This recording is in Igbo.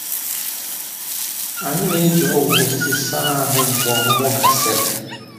Anyị na-eji ọgwụ osisi saa ahụ mgbe ọmụmụ gasịrị.